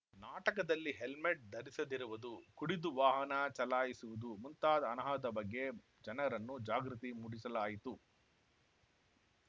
ನಾಟಕದಲ್ಲಿ ಹೆಲ್ಮೆಟ್‌ ಧರಿಸದಿರುವುದು ಕುಡಿದು ವಾಹನ ಚಲಾಯಿಸುವುದು ಮುಂತಾದ ಅನಾಹತ ಬಗ್ಗೆ ಜನರನ್ನು ಜಾಗೃತಿ ಮೂಡಿಸಲಾಯಿತು